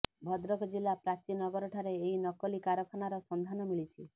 ଭଦ୍ରକ ଜିଲ୍ଲା ପ୍ରାଚୀ ନଗର ଠାରେ ଏହି ନକଲି କାରଖାନାର ସନ୍ଧାନ ମିଳିଛି